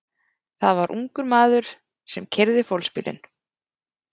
Það var ungur maður sem keyrði fólksbílinn.